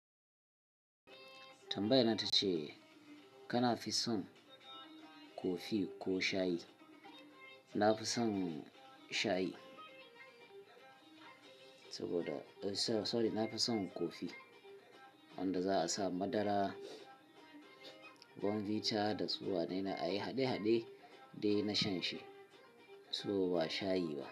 Tambayan nan tace kana fi son kofi ko shayi? Na fi son shayi saboda, eh sorry na fi son kofi wanda za a sa madara, bunbita da su wanene a yi haɗe-haɗe dai na shan shi, so ba shayi ba.